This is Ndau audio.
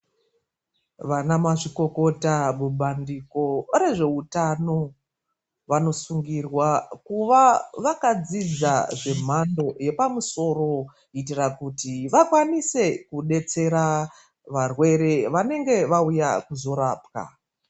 Vanamazvikokota mubandiko rezveutano, vanosungirwa kuva vakadzidza zvemhando yepamusoro kuitira kuti vakwanise kudetsera varwere vanenge vauya kuzorapwa.